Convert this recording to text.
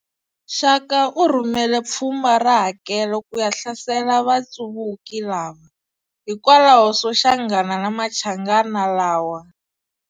Shaka u rhumele phfumba ra hakelo kuya hlasela vatsuvuki lava, hikwalaho soshangana na machangana lawa a.